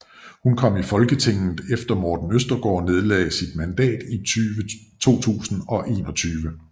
Hun kom i Folketinget efter Morten Østergaard nedlagde sit mandat i 2021